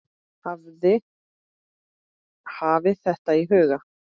Hafið þetta í huga.